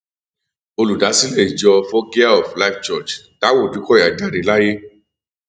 olùdásílẹ ìjọ foggia of life church taiwo òdùkọyà jáde láyé